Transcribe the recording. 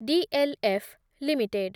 D L F limited